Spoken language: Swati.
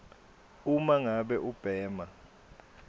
uma ngabe ubhema